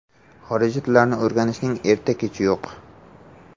Xorijiy tillarni o‘rganishning erta-kechi yo‘q.